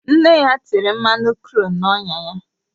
Nne ya tere mmanụ kru na-onya ya